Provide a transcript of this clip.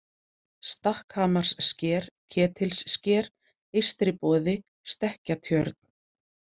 Stakkhamarssker, Ketilssker, Eystriboði, Stekkjatjörn